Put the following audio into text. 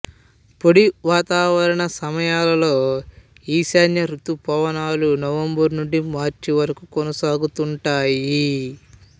పొడి వాతావరణ సమయాలలో ఈశాన్య ౠతుపవనాలు నవంబరు నుండి మార్చి వరకు కొనసాగుతుంటాయి